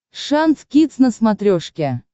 шант кидс на смотрешке